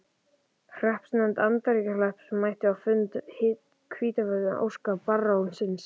Hreppsnefnd Andakílshrepps mætti á fund á Hvítárvöllum að ósk barónsins.